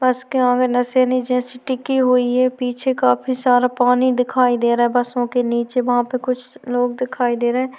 बस के आगे निसेनी जैसी टिकी हुई है पीछे काफी सारा पानी दिखाई दे रहा है बसों के नीचे वहाँ पे कुछ लोग दिखाई दे रहै हैं।